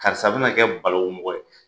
Karisa bina kɛ balawu mɔgɔ ye.